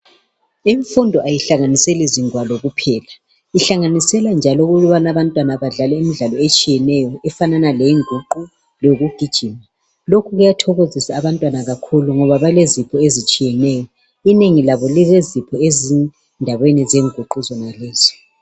Imfundo ayihlanganiseli zingwalo kuphela, ihlanganisela njalo ukubana abantwana badlale imidlalo etshiyeneyo efanana lenguqu lokugijima. Lokhu kuyathokozisa abantwana kakhulu ngoba balezipho ezitshiyeneyo. Inengi labo lilezipho ezindabeni zenguqu zonalezi.